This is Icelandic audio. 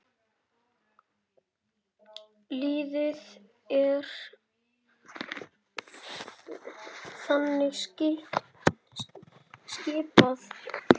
Liðið er þannig skipað